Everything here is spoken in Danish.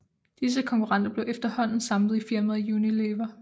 Disse konkurrenter blev efterhånden samlet i firmaet Unilever